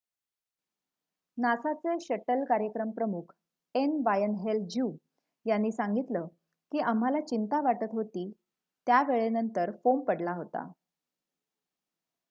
"नासाचे shuttle कार्यक्रम प्रमुख N. Wayne Hale ज्यु. यांनी सांगितलं की "आम्हाला चिंता वाटत होती त्या वेळेनंतर" फोम पडला होता.